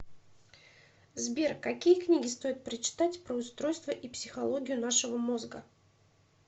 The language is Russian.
сбер какие книги стоит прочитать про устройство и психологию нашего мозга